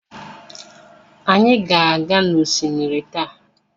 Anyị ga-aga n'osimiri taa.